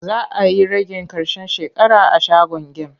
Za a yi ragin ƙarshen shekara a shagon gem.